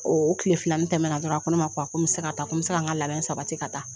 O tilefilanin tɛmɛna dɔrɔn a ko ne ma ko a ko n bɛ se ka taa ko n bɛ se ka n ka labɛn sabati ka taa.